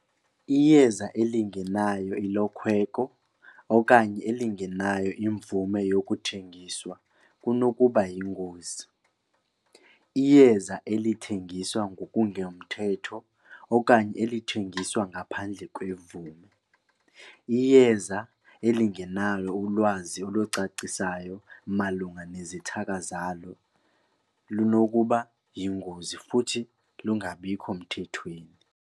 Iyeza elingenayo ilokhweko okanye elingenayo imvume yokuthengiswa kunokuba yingozi. Iyeza elithengiswa ngokungemthetho okanye elithengiswa ngaphandle kwemvume. Iyeza elingenalo ulwazi olucacisayo malunga nezithaka zalo lunokuba yingozi futhi lungabikho mthethweni.